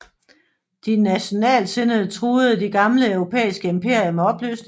De nationaltsindede truede de gamle europæiske imperier med opløsning